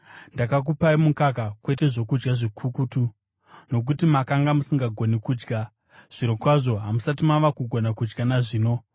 Ndakakupai mukaka, kwete zvokudya zvikukutu, nokuti makanga musingagoni kudya. Zvirokwazvo, hamusati mava kugona kudya nazvino.